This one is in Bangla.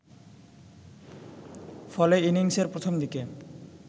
ফলে ইনিংসের প্রথম দিকে